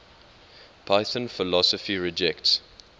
python philosophy rejects